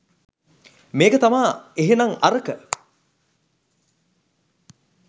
මේක තමා එහෙනන් අරක